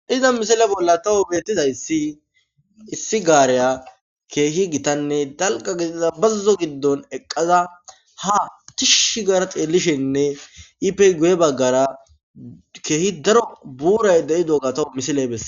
Iza misile bolla tawu beettiza si issi gaareya keehi gitanne dalqa bazuzo giddon eqqaza ha tishi gar xeellishenne ipey guye baggara keehi daro buuray de7i dogatawo misiley besse.